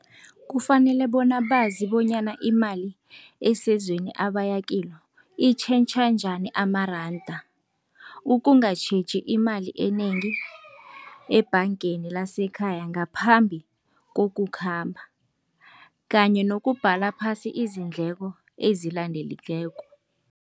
Kufanele bona bazi bonyana imali esezweni abaya kilo, itjhentjha njani amaranda. Ukungatjheji imali enengi ebhangeni lasekhaya ngaphambi kokukhamba kanye nokubhala phasi izindleko